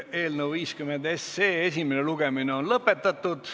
Eelnõu 50 esimene lugemine on lõpetatud.